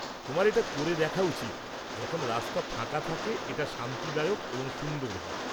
তোমার এটা করে দেখা উচিৎ; যখন রাস্তা ফাঁকা থাকে এটা শান্তিদায়ক এবং সুন্দর হয়।